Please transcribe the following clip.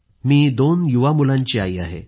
मी दोन युवा मुलांची आई आहे